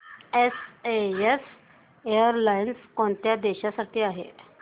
SAS airlines कोणत्या देशांसाठी आहे